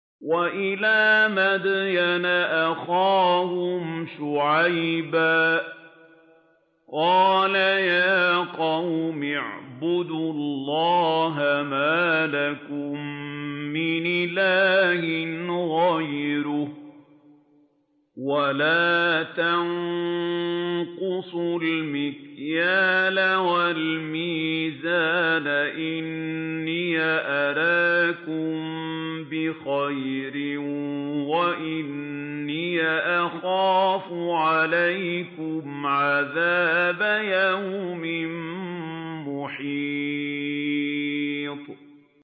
۞ وَإِلَىٰ مَدْيَنَ أَخَاهُمْ شُعَيْبًا ۚ قَالَ يَا قَوْمِ اعْبُدُوا اللَّهَ مَا لَكُم مِّنْ إِلَٰهٍ غَيْرُهُ ۖ وَلَا تَنقُصُوا الْمِكْيَالَ وَالْمِيزَانَ ۚ إِنِّي أَرَاكُم بِخَيْرٍ وَإِنِّي أَخَافُ عَلَيْكُمْ عَذَابَ يَوْمٍ مُّحِيطٍ